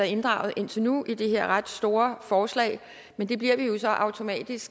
inddraget indtil nu i det her ret store forslag men det bliver vi jo så automatisk